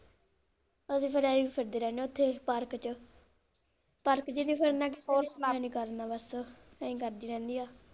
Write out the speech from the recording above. ਅਸੀਂ ਵੀ ਏਂ ਹੀ ਫਿਰਦੇ ਰਹਿਣੇ ਓਥੇ park ਚ, park ਜੀ ਦੀ ਫਿਰ ਏਂ ਹੀ ਕਰਦੀ ਰਹਿੰਦੀ ਆ।